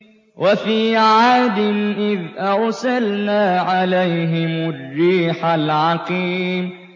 وَفِي عَادٍ إِذْ أَرْسَلْنَا عَلَيْهِمُ الرِّيحَ الْعَقِيمَ